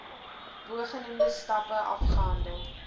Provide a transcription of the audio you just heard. bogenoemde stappe afgehandel